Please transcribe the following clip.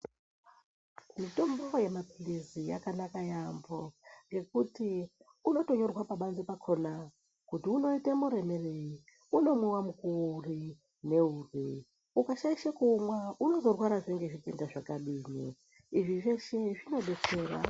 Mitombo yemapilizi yakanaka yaampho ngekuti unotonyorwa pabanze pakhona kuti unoite muremerei, unomwiwa mukuwo uri neuri, ukashaishe kuumwa unozorwarazve ngezvitenda zvakadini, izvi zveshe zvinodetsera.